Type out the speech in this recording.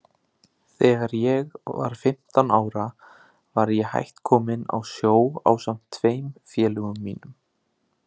Þegar ég var fimmtán ára var ég hætt kominn á sjó ásamt tveim félögum mínum.